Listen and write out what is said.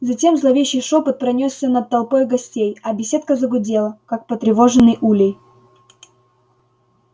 затем зловещий шёпот пронёсся над толпой гостей а беседка загудела как потревоженный улей